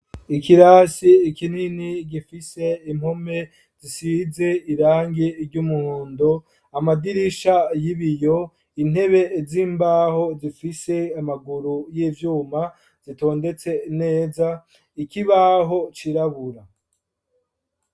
ikirasi kinini gifise impome zisize irangi ry'umuhondo amadirisha yibiyo intebe z'imbaho zifise amaguru y'ivyuma zitondetse neza, ikibaho cirabura.